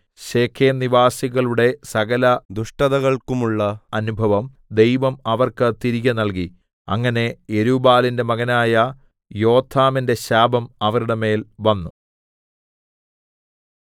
ശെഖേംനിവാസികളുടെ സകല ദുഷ്ടതകൾക്കുമുള്ള അനുഭവം ദൈവം അവർക്ക് തിരികെ നൽകി അങ്ങനെ യെരുബ്ബാലിന്റെ മകനായ യോഥാമിന്റെ ശാപം അവരുടെ മേൽ വന്നു